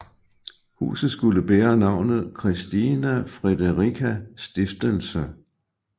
Huset skulle bære navnet Christina Friederica Stiftelse